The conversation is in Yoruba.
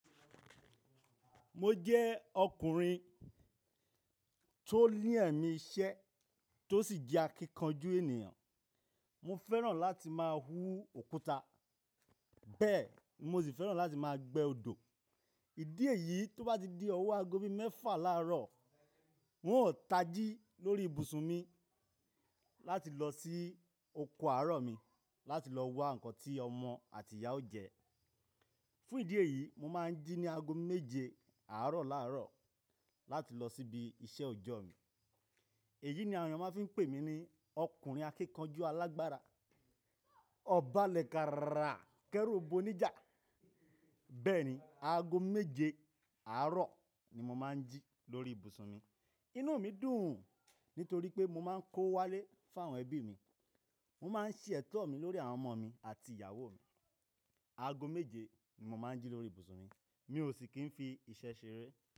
Mo jẹ́ ọkùnrin tó ní ẹ̀mí iṣẹ́ tó sì jẹ́ akíkanjú ènìyàn. Mo fẹ́ràn láti máa wú òkúta, bẹ́ẹ̀ mo sì fẹ́ràn láti máa gbé odò. Ìdí èyí tó bá di ọ̀wọ́ aago bí mẹ́fà láàárọ̀, n ó tají lórí ibùsùn mi láti lọ sí oko àárọ̀ mi láti lọ wá ǹkan tí ọmọ àti ìyàwó jẹ. Fún ìdí èyí, mo máa ń jí ní aago méje àárọ̀ láàárọ̀ láti lọ síbi iṣẹ́ òjọ́ mi. Èyí ni àwọn ènìyàn máa ń fi pè mí ní ọkùnrin akíkanjú alágbára, ọba lẹ̀káàrà kẹ́rúbù oníjà. Bẹ́ẹ̀ ni, aago méje àárọ̀ ni mo máa ń jí lórí ibùsùn mi. Inú mi dùn nítorí pé mo máa ń kó wálé fún àwọn ẹbí mi. Mo máa ń ṣètọ́ mi lórí àwọn ọmọ mi àti ìyàwó mi. Aago méje ni mo máa ń jí lórí ibùsùn mi, mi ò sì kí n fi iṣẹ́ ṣeré.